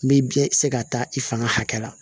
N bɛ biɲɛ se ka taa i fanga hakɛ la